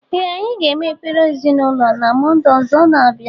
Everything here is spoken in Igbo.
Ee anyi ga-eme ekpere ezịnaụlọ na mọnde ọzọ na- abịa.